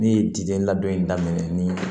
Ne ye dide ladon daminɛ ni